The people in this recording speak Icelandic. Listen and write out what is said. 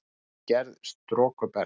Innri gerð storkubergs